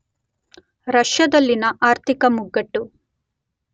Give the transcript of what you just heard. ರಷ್ಯಾದಲ್ಲಿನ ಆರ್ಥಿಕ ಮುಗ್ಗಟ್ಟು